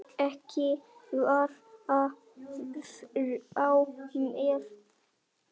Ekki fara frá mér!